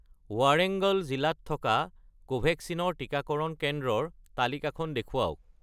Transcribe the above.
ৱাৰেংগল জিলাত থকা কোভেক্সিন ৰ টিকাকৰণ কেন্দ্ৰৰ তালিকাখন দেখুৱাওক